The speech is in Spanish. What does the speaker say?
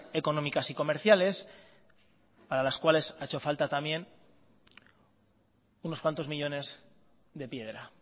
económicas y comerciales para las cuales ha hecho falta también unos cuantos millónes de piedra